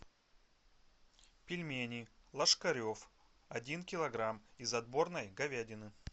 пельмени лошкарев один килограмм из отборной говядины